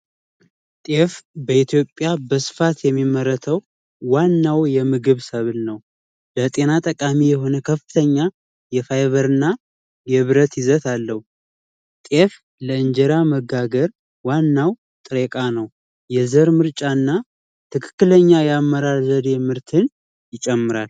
ጤፍ በኢትዮጵያ በስፋት የሚመረተው ዋናው የምግብ ሰብን ነው ለጤና ጠቃሚ የሆነ ከፍተኛ የፋይበርና የብረት ይዘት አለው የእንጀራ መጋገር ዋናው ጥሬው የዘር ምርጫና ትክክለኛ የአመራር ዘዴ የምርትን ይጨምራል